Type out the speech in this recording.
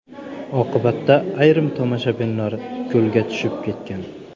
Oqibatda ayrim tomoshabinlar ko‘lga tushib ketgan.